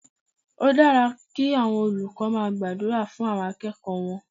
Ó dára kí àwọn olùkọ́ máa gbàdúrà fún àwọn akẹ́kọ̀ọ́ wọn.